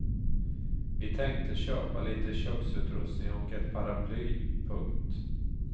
Vi tänkte köpa lite köksutrustning och ett paraply. punkt